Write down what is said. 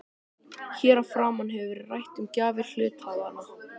Hér að framan hefur verið rætt um gjafir til hluthafanna.